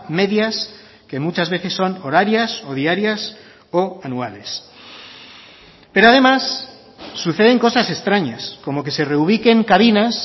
medias que muchas veces son horarias o diarias o anuales pero además suceden cosas extrañas como que se reubiquen cabinas